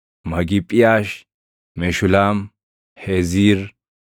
Magiphiiʼaash, Meshulaam, Heeziir,